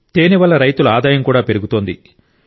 తేనె వల్ల రైతుల ఆదాయం కూడా పెరుగుతోంది